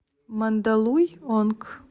мандалуйонг